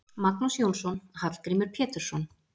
Magnús Jónsson: Hallgrímur Pétursson.